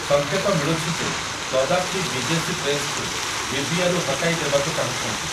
ସଙ୍କେତ ମିଳୁଛି ଯେ ଗଦ୍ଦାଫି ବିଦେଶୀ ପ୍ରେସ୍ କୁ ଲିବିୟାରୁ ହଟାଇ ଦେବାକୁ ଚାହୁଁଛନ୍ତି ।